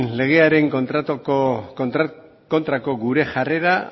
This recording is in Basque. legearen kontrako gure jarrera